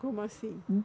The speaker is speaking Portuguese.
Como assim?